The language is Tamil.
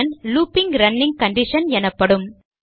லூப்பிங் ரன்னிங் கண்டிஷன் எனப்படும்